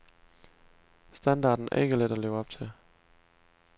Standarden er ikke let at leve op til.